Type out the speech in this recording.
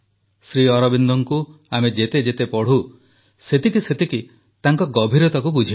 ଶ୍ରୀଅରବିନ୍ଦଙ୍କୁ ଆମେ ଯେତେ ଯେତେ ପଢ଼ୁ ସେତିକି ସେତିକି ତାଙ୍କ ଗଭୀରତାକୁ ବୁଝିପାରୁ